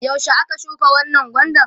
yaushe aka shuka wannan gwandan?